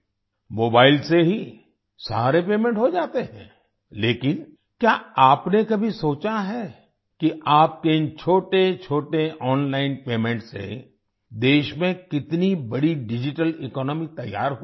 mobile से ही सारे पेमेंट हो जाते हैं लेकिन क्या आपने कभी सोचा है कि आपके इन छोटेछोटे ओनलाइन पेमेंट से देश में कितनी बड़ी डिजिटल इकोनॉमी तैयार हुई है